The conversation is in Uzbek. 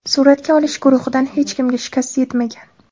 Suratga olish guruhidan hech kimga shikast yetmagan.